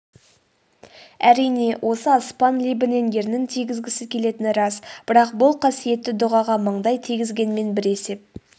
әрине осы аспан лебінен ернін тигізгісі келетіні рас бірақ бұл қасиетті дұғаға маңдай тигізгенмен бір есеп